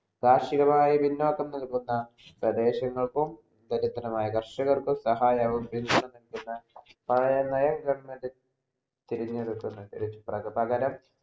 കാർഷികമായി പിന്നോട് നിൽക്കുന്ന പ്രദേശങ്ങൾക്കും ദരിദ്രനായ കർഷക്കർക്കും സഹായവയും പഴെയെ government തെരെഞ്ഞെടുക്കുന്ന പകരം